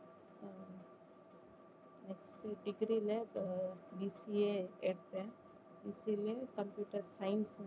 next degree ல ah BCA எடுத்தேன் BCA computer science